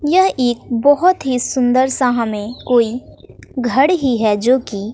यह एक बहोत ही सुंदर सा हमें कोई घर ही है जो की--